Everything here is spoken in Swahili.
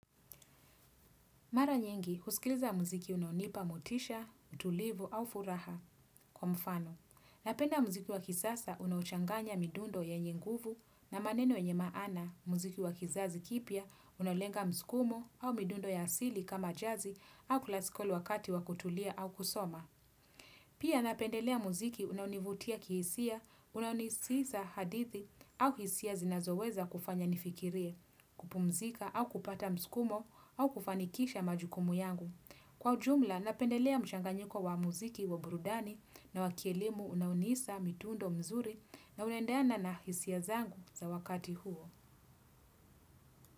Mara nyingi, husikiliza muziki unaonipa motisha, tulivu au furaha kwa mfano. Napenda muziki wa kisasa unaochanganya midundo yenye nguvu na maneno yenye maana muziki wa kisazi kipya unalenga mskumo au midundo ya asili kama jazi au kulaskoli wakati wa kutulia au kusoma. Pia napendelea muziki unaonivutia kihisia, unaunisisa hadithi au hisia zinazoweza kufanya nifikirie, kupumzika au kupata mskumo au kufanikisha majukumu yangu. Kwa ujumla, napendelea mchang nyiko wa muziki wa burudani na wa kielimu unaonisa mitundo mzuri na unaendeana na hisia zangu za wakati huo.